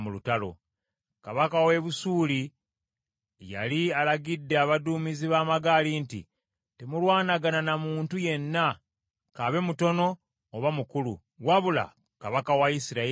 Kabaka w’e Busuuli yali alagidde abaduumizi b’amagaali nti, “Temulwanagana na muntu yenna, kabe mutono oba mukulu, wabula kabaka wa Isirayiri yekka.”